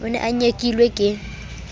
o ne o nyekilwe ke